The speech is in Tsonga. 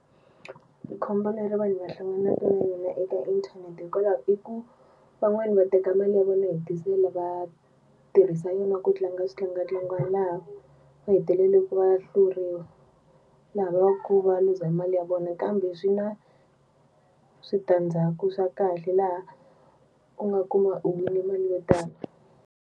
Khombo leri vanhu va hlanganaka na yona eka inthanete hikwalaho i ku van'wani va teka mali ya vona yo hetisela va tirhisa yona ku tlanga switlangantlangani laha va hetelelaka va hluriwa laha va ku va luza mali ya vona kambe swi na switandzhaku swa kahle laha u nga kuma u wine mali yo tala.